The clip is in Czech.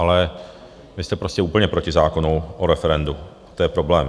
Ale vy jste prostě úplně proti zákonu o referendu, to je problém.